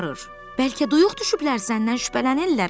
Bəlkə duyuq düşüblər, səndən şübhələnirlər, hə?